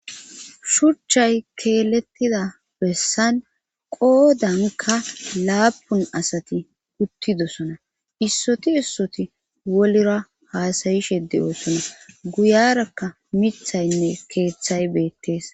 shurchay keelettida bessan qoodanka laapun asati uttidosona issoti issoti wolira haasayishe de7oosona guyarakka mithaynne keeththay beettees